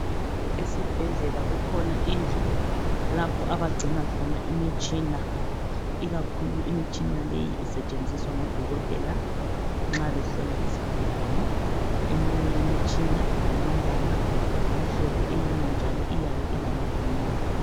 Esibhedlela kukhona indlu lapho abagcina khona imitshina. Ikakhulu imitshina leyi esetshenziswa ngodokotela nxa behlola izigulane. Eminye yemitshina ilombala omhlophe eyinye njalo iyabe ilamavili.